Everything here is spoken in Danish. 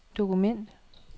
dokument